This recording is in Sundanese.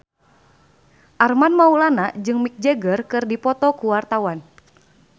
Armand Maulana jeung Mick Jagger keur dipoto ku wartawan